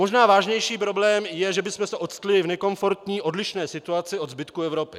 Možná vážnější problém je, že bychom se octli v nekomfortní odlišné situaci od zbytku Evropy.